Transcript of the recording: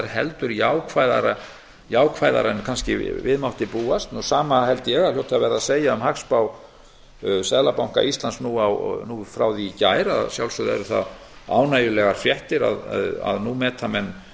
heldur jákvæðara en við mátti búast hið sama held ég að hljóti að verða að segja um hagspá seðlabanka íslands frá því í gær að sjálfsögðu eru það ánægjulegar fréttir að nú meta menn